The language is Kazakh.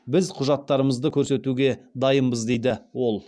біз құжаттарымызды көрсетуге дайынбыз дейді ол